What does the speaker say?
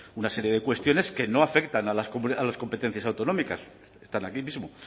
una serie de cuestiones que no afectan a las competencias autonómicas están aquí mismo